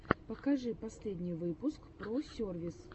покажи последний выпуск про сервис